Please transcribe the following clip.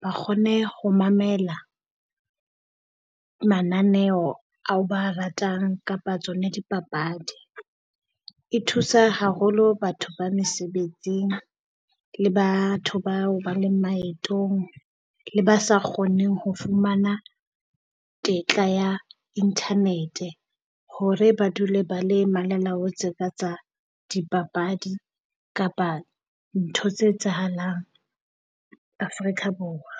ba kgone ho mamela mananeo ao ba ratang kapa tsona dipapadi. E thusa haholo batho ba mesebetsing le batho bao ba leng maetong le ba sa kgoneng ho fumana tetla ya internet-e, hore ba dule ba le malalaotse ka tsa dipapadi kapa ntho tse etsahalang Afrika Borwa.